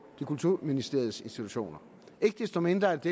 kulturministeriets institutioner ikke desto mindre er det